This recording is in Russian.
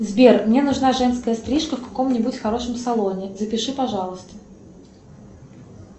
сбер мне нужна женская стрижка в каком нибудь хорошем салоне запиши пожалуйста